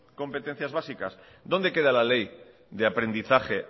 competencias básicas dónde queda la ley de aprendizaje